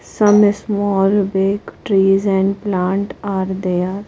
Some small big trees and plant are there.